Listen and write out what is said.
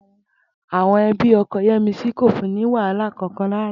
Àwo̩n e̩bí o̩ko̩ Yé̩misí kò fun ní wàhálà kankan rárá